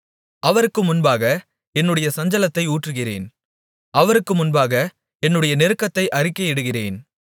அவருக்கு முன்பாக என்னுடைய சஞ்சலத்தை ஊற்றுகிறேன் அவருக்கு முன்பாக என்னுடைய நெருக்கத்தை அறிக்கையிடுகிறேன்